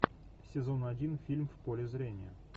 сезон один фильм в поле зрения